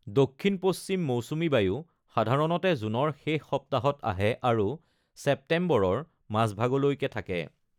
দক্ষিণ-পশ্চিম মৌচুমী বায়ু সাধাৰণতে জুনৰ শেষ সপ্তাহত আহে আৰু ছেপ্টেম্বৰৰ মাজভাগলৈকে থাকে।